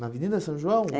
Na Avenida São João? É